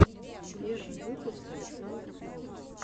первый выпуск александр белов